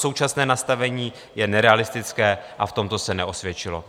Současné nastavení je nerealistické a v tomto se neosvědčilo.